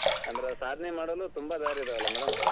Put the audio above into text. ಅಂದ್ರ್ ಸಾಧನೆ ಮಾಡಲು ತುಂಬಾ ದಾರಿ ಇದಾವಲಾ madam .